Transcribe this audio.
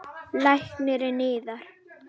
LÁRUS: Lækninn yðar?